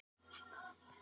Þú ferð ekki á túr!